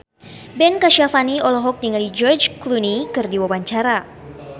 Ben Kasyafani olohok ningali George Clooney keur diwawancara